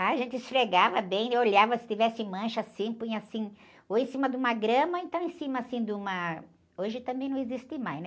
A gente esfregava bem, olhava se tivesse mancha assim, punha assim, ou em cima de uma grama, ou então em cima assim de uma... Hoje também não existe mais, né?